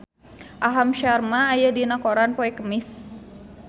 Aham Sharma aya dina koran poe Kemis